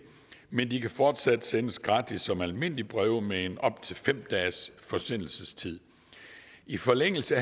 men de kan fortsat sendes gratis som almindelige breve med en op til fem dages forsendelsestid i forlængelse